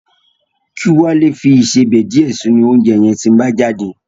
Kí Wálé fi ìsebẹ̀ díẹ̀ sínú oúnjẹ yẹn tí ń bá jáde